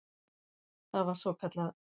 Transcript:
Það var svokallað